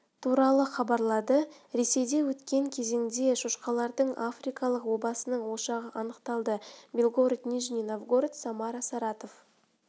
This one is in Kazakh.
туралы хабарлады ресейде өткен кезеңде шошқалардың африкалық обасының ошағы анықталды белгород нижний новгород самара саратов